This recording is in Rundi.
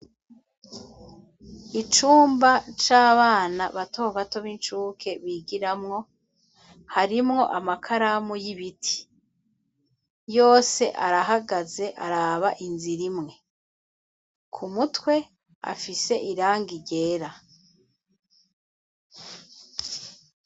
icumba c'abana batobato b'incuke bigiramwo, harimwo amakaramu y'ibiti . Yose arahagaze araba inzira imwe, ku mutwe afise irangi ryera.